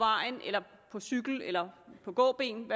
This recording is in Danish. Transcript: cykel eller på gåben